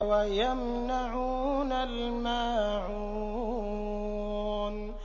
وَيَمْنَعُونَ الْمَاعُونَ